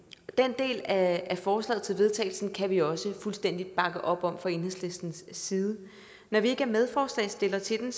den del af forslaget til vedtagelse kan vi også fuldstændig bakke op om fra enhedslistens side når vi ikke er medforslagsstillere til den